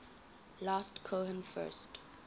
last cohen first